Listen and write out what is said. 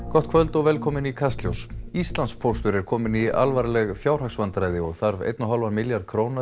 gott kvöld og velkomin í Kastljós Íslandspóstur er kominn í alvarleg fjáhagsvandræði og þarf einn og hálfan milljarð króna